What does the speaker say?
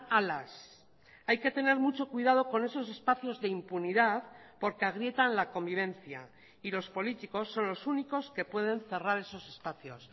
alas hay que tener mucho cuidado con esos espacios de impunidad porque agrietan la convivencia y los políticos son los únicos que pueden cerrar esos espacios